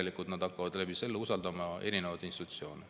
Sel juhul nad hakkaksid ju usaldama ka erinevaid institutsioone.